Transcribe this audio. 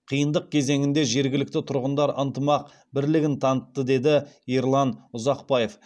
қиындық кезеңінде жергілікті тұрғындар ынтымақ бірлігін танытты деді ерлан ұзақбаев